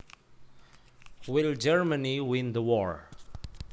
Will Germany win the war